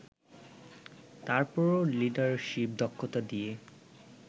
তারপরও লিডারশিপ দক্ষতা দিয়ে